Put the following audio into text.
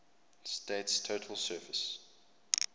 state's total surface